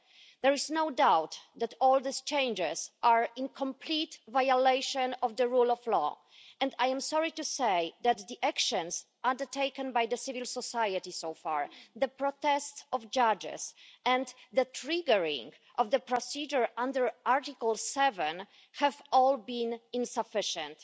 There is no doubt that all these changes are in complete violation of the rule of law and I am sorry to say that the actions undertaken by the civil society so far, the protests of judges and the triggering of the procedure under Article 7 have all been insufficient.